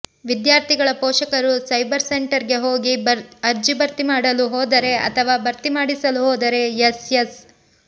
ವಿದ್ಯಾರ್ಥಿಗಳ ಪೋಷಕರು cyber centre ಗೆ ಹೋಗಿ ಅರ್ಜಿ ಭರ್ತಿ ಮಾಡಲು ಹೋದರೆ ಅಥವಾ ಭರ್ತಿ ಮಾಡಿಸಲು ಹೋದರೆ ಎಸ್ಎಸ್